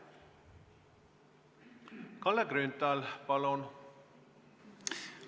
Kalle Grünthal, palun!